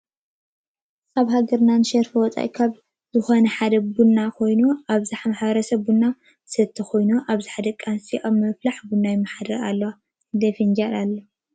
አብ ሃገርና ንሸርፍ ወፃኢ ካብ ዝኮነ ሐደ ቡና ኮይኑ አብዘሐ ማሕበረሰብና ቡና ዝሰትይ ኮይኑ አብዝሐ ደቂ አነሰትዮ አብ ብምፍላሕ ቡን ይመሐደራ አለዋ ። ክንደይ ፍንጃል አለዋ?